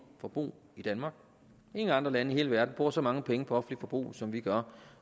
forbrug i danmark ingen andre lande i hele verden bruger så mange penge på offentligt forbrug som vi gør